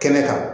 Kɛnɛ kan